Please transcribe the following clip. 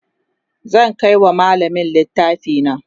zan Kai wa mallamin littafi na